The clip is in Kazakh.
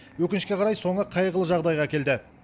өкінішке қарай соңы қайғылы жағдайға әкелді